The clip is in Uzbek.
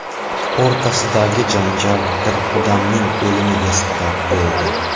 o‘rtasidagi janjal bir odamning o‘limiga sabab bo‘ldi.